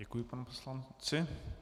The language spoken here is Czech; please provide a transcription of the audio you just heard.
Děkuji panu poslanci.